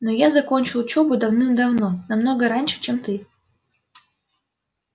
но я закончил учёбу давным-давно намного раньше чем ты